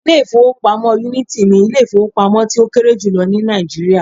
Ilé ìfowópamọ́ Unity ni Ilé ìfowópamọ́ tí ó kéré jùlọ ní Nàìjíríà